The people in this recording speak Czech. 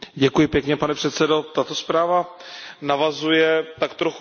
Tato zpráva navazuje tak trochu na předchozí zprávu.